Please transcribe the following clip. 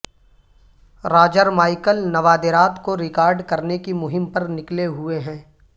Roger Michael نوادرات کو record کرنے کی مہم پر نکلے ہوئے ہیں